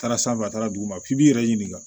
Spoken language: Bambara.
Taara sanfɛ a taara dugu ma f'i b'i yɛrɛ ɲininka